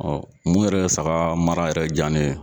Ɔ mun yɛrɛ saga mara yɛrɛ ja ne ye